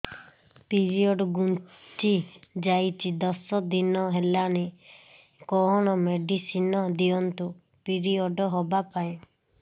period ଘୁଞ୍ଚି ଯାଇଛି ଦଶ ଦିନ ହେଲାଣି କଅଣ ମେଡିସିନ ଦିଅନ୍ତୁ ପିରିଅଡ଼ ହଵା ପାଈଁ